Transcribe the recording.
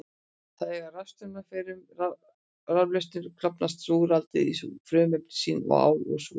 Þegar rafstraumur fer um raflausnina klofnar súrálið í frumefni sín, ál og súrefni.